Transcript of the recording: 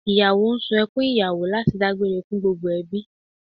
Ìyàwó ń sunkún ìyàwó láti dágbére fún gbogbo ẹbí